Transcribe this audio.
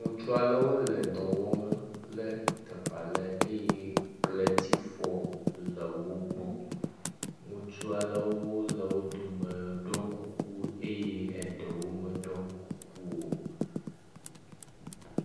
Ŋutsu aɖewo le dɔ wɔm le teƒe aɖe eye kletifɔ le wo gbɔ. Ŋutsu aɖewo le wo dome ɖɔ kuku eye eɖewo meɖɔ kuku o.